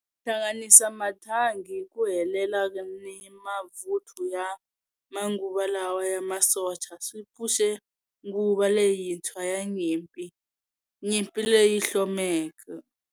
Ku hlanganisa mathangi hi ku helela ni mavuthu ya manguva lawa ya masocha swi pfuxe nguva leyintshwa ya nyimpi, nyimpi leyi hlomeke.